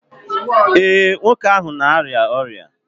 ee, nwoke ahụ na-arịa ọrịa?